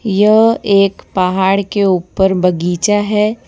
यह एक पहाड़ के ऊपर बगीचा है।